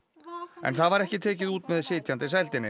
en það var ekki tekið út með sitjandi sældinni